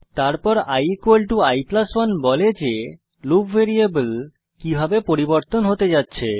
তারপর i i1 বলে যে লুপ ভ্যারিয়েবল কিভাবে পরিবর্তন হতে যাচ্ছে